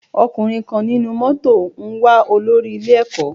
Ọkùnrin kan nínú mótò ń wá olórí ilé ẹ̀kọ́.